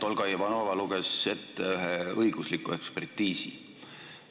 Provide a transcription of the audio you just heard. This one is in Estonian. Olga Ivanova luges tänuväärselt ette ühe õigusliku hinnangu.